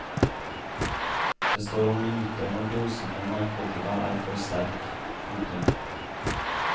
Det står om minutter når dosen med narkotika er for sterk. punktum